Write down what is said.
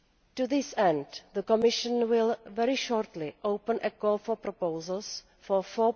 To this end, the Commission will very shortly open a call for proposals for EUR